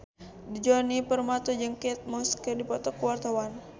Djoni Permato jeung Kate Moss keur dipoto ku wartawan